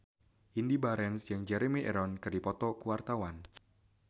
Indy Barens jeung Jeremy Irons keur dipoto ku wartawan